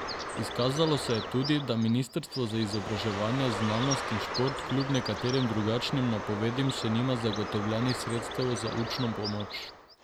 Izkazalo se je tudi, da ministrstvo za izobraževanje, znanost in šport kljub nekaterim drugačnim napovedim še nima zagotovljenih sredstev za učno pomoč.